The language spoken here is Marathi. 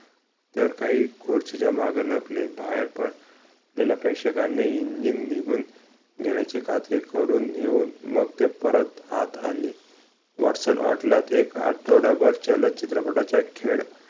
तर काही खुर्चीच्या मागे लपले बाहेर पण प्रेक्षकांनी engine निघून गेल्याची खात्री करून येऊन मग परत आत आले वॅटसन ते एक आठवडाभर जलदचित्रपटाच्या खेड